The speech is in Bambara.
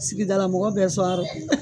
Sigidala mɔgɔ bɛɛ sɔn a rɔ